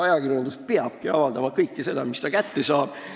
Ajakirjandus peabki avaldama kõike seda, mis ta kätte saab.